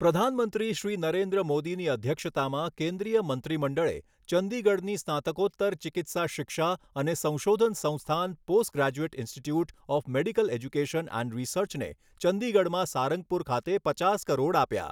પ્રધાનમંત્રી શ્રી નરેન્દ્ર મોદીની અધ્યક્ષતામાં કેન્દ્રીય મંત્રીમંડળે ચંડીગઢની સ્નાતકોત્તર ચિકિત્સા શિક્ષા અને સંશોધન સંસ્થાન postgraduate institute of medical education and રીસર્ચને ચંડીગઢમાં સારંગપુર ખાતે પચાસ કરોડ આપ્યા.